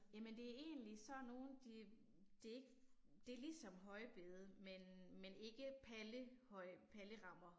Jamen det er egentlig sådan nogle de det det er ligesom højbede men men ikke palle høj, pallerammer